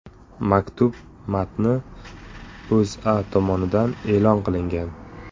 Maktub matni O‘zA tomonidan e’lon qilingan .